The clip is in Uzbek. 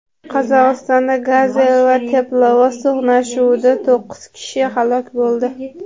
Qozog‘istonda "Gazel" va teplovoz to‘qnashuvida to‘qqiz kishi halok bo‘ldi.